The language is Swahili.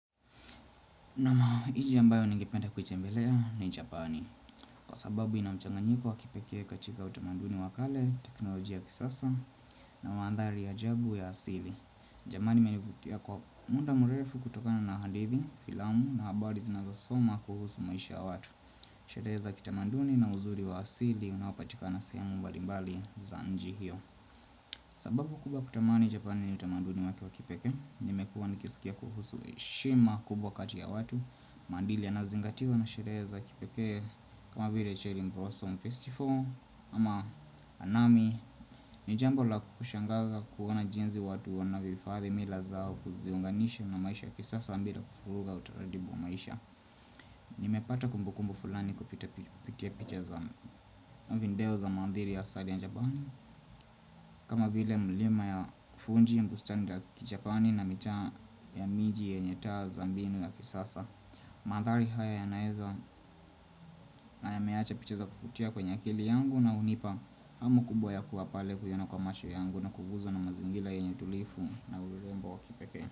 Nomo ile ambayo ningependa kuitembelea ni Japani Kwa sababu inamchanganyiko wa kipekee katika utamanduni wa kale, teknolojia ya kisasa na mandhari ya ajabu ya asili Jamani imenivutia kwa muda mrefu kutokana na hadithi, filamu na habari zinazosomwa kuhusu maisha ya watu Sherehe za kitamanduni na uzuri wa asili unaopatika sehemu mbalimbali za iji hiyo sababu kubwa ya kutamani Japani ni utamanduni wake wa kipekee Nimekuwa nikisikia kuhusu heshima kubwa kati ya watu maandili yanazingatiwa na sherehe kipekee kama vile Cheli Mbroso Festival ama anami ni jambo la kushangaza kuona jinzi watu wanavyohifadhi mila zao Kuziunganisha na maisha ya kisasa bila kufuruga utaratibu maisha Nimepata kumbukumbu fulani kupita kupitia picha za video za mandhili ya asali ya japani kama vile mlima ya fuji bustani la kichajani na mitaa ya miji yenye taa za mbinu ya kisasa Mandhali haya yanaeza haya yameacha piche za kuvutia kwenye akili yangu na hunipa hamu kubwa ya kuwa pale kuiona kwa macho yangu na kuguzwa na mazingira yenye utulifu na urembo wa kipekee.